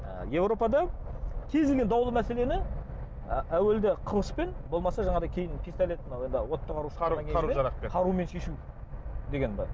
ы еуропада кез келген даулы мәселені ы әуелде қылышпен болмаса жанағыдай кейін пистолет мынау енді отты қару жарақпен қарумен шешу деген бар